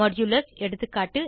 160 Modulus எகா